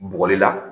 Bɔgɔ de la